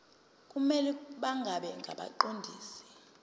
kumele bangabi ngabaqondisi